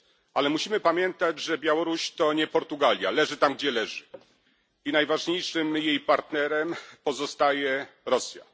Ale musimy pamiętać, że Białoruś to nie Portugalia leży tam, gdzie leży, i najważniejszym jej partnerem pozostaje Rosja.